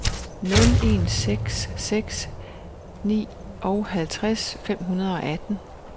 nul en seks seks nioghalvtreds fem hundrede og atten